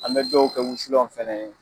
An bɛ dɔw kɛ wusulanw fɛnɛ ye